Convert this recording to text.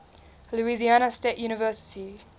louisiana state university